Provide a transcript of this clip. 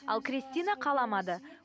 ал крестина қаламады